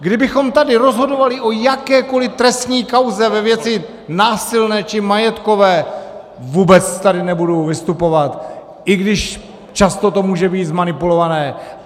Kdybychom tady rozhodovali o jakékoli trestní kauze ve věci násilné či majetkové, vůbec tady nebudu vystupovat, i když často to může být zmanipulované.